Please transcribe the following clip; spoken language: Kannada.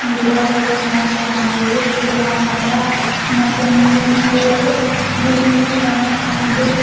ಗಿಡಗಳು ತುಂಬಾ ಚೆನ್ನಾಗಿವೆ ಹಸಿರು ಬಣ್ಣದ ಮತ್ತೆ ಮುಂದೆ ನೋಡಿದರೆ ಬಿಲ್ಡಿಂಗ್ ಮನೆ ಇದೆ.